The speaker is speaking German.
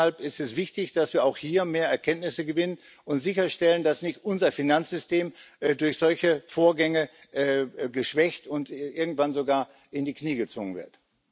Deshalb ist es wichtig, dass wir auch hier mehr Erkenntnisse gewinnen und sicherstellen, dass unser Finanzsystem durch solche Vorgänge nicht geschwächt und irgendwann sogar in die Knie gezwungen wird.